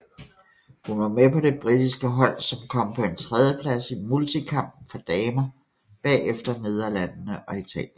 Hun var med på det britiske hold som kom på en tredjeplads i multikamp for damer bagefter Nederlandene og Italien